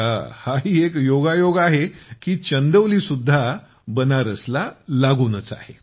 आता हाही एक योगायोग आहे की चंदौली सुद्धा बनारसला लागूनच आहे